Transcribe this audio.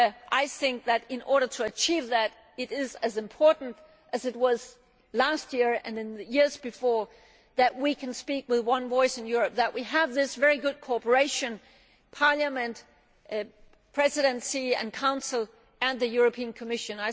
I think that in order to achieve that, it is as important as it was last year and in the previous years that we can speak with one voice in Europe and that we have this very good cooperation Parliament, Presidency and Council and the European Commission.